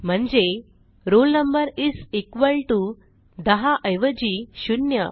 म्हणजे roll number is equal T O दहा ऐवजी शून्य